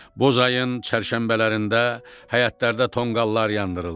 Bozayın çərşənbələrində həyətlərdə tonqallar yandırıldı.